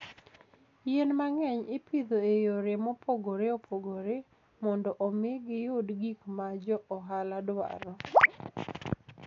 Yien mang'eny ipidho e yore mopogore opogore mondo omi giyud gik ma jo ohala dwaro.